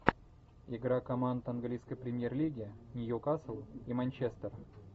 игра команд английской премьер лиги ньюкасл и манчестер